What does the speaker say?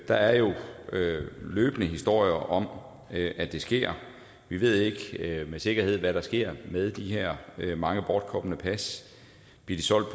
der er jo løbende historier om at det sker vi ved ikke med sikkerhed hvad der sker med de her mange bortkomne pas bliver de solgt